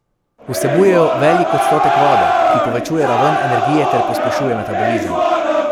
Vsebujejo velik odstotek vode, ki povečuje raven energije ter pospešuje metabolizem.